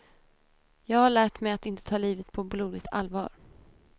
Jag har lärt mig att inte ta livet på blodigt allvar.